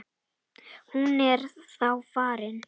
Hún er þá farin.